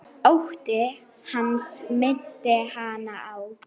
Ótti hans minnti hana á